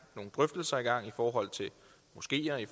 nogle drøftelser i gang i forhold til moskeer og i